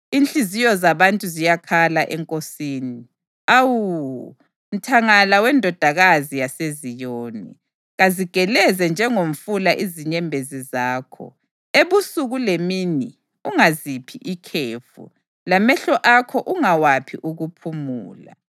Inhliziyo zabantu ziyakhala eNkosini. Awu, mthangala weNdodakazi yaseZiyoni, kazigeleze njengomfula inyembezi zakho, ebusuku lemini; ungaziphi ikhefu, lamehlo akho ungawaphi ukuphumula.